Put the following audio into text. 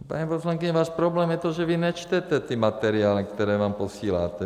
Paní poslankyně, váš problém je to, že vy nečtete ty materiály, které vám posíláme.